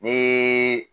Ni